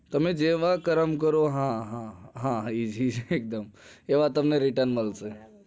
તમે જેવા કરમ કરો હા હા તેવા તમને return મળશે